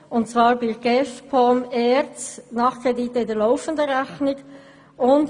Bei GEF, POM und ERZ geht es um Nachkredite in der laufenden Rechnung.